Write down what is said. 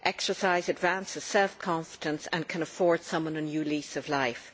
Exercise advances self confidence and can afford someone a new lease of life.